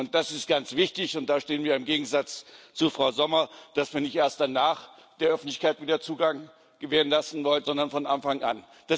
Das ist ganz wichtig, und da stehen wir im Gegensatz zu Frau Sommer, dass wir nicht erst danach der Öffentlichkeit wieder Zugang gewähren lassen wollen, sondern von Anfang an.